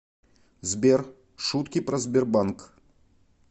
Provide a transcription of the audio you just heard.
сбер шутки про сбербанк